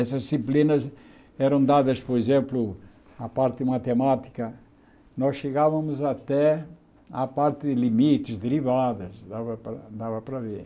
Essas disciplinas eram dadas, por exemplo, a parte de matemática, nós chegávamos até a parte de limites, derivadas, e dava para dava para ver.